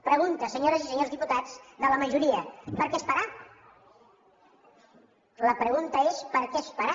pregunta senyores i senyors diputats de la majoria per què esperar la pregunta és per què esperar